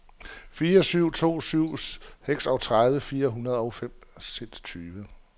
fire syv to syv seksogtredive fire hundrede og femogtyve